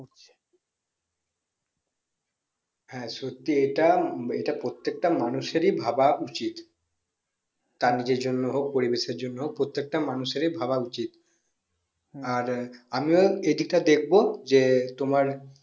হ্যাঁ সত্যি এটা প্রত্যেক তা মানুষ এর ই ভাবা উচিত তার নিজের জন্য হোক পরিবেশ এর জন্য হোক প্রত্যেকটা মানুষ এর ই ভাবা উচিত আমিও এই দিকটা দেখবো যে তোমার